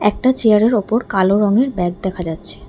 একটা চেয়ারের ওপর কালো রঙের ব্যাগ দেখা যাচ্ছে।